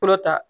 Kɔrɔ ta